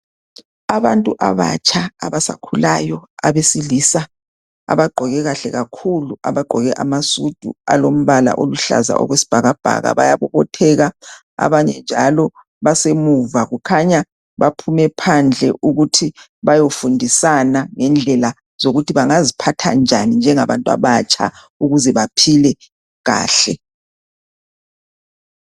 Abantu abatsha abasakhulayo abesilisa abagqoke kahle kakhulu abagqoke amasudu alombala oluhlaza okwesibhakabhaka bayabobotheka abanye njalo basemuva. Kukhanya baphume phandle ukuthi bayofundisana ngendlela zokuthi bangaziphatha njani njengabantu abatsha ukuze baphile kahle